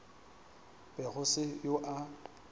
be go se yo a